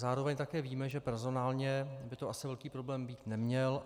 Zároveň také víme, že personálně by to asi velký problém být neměl.